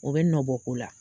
U bɛ nɔbɔ ko la.